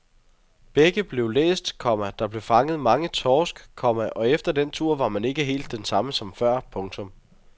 Begge blev læst, komma der blev fanget mange torsk, komma og efter den tur var man ikke helt den samme som før. punktum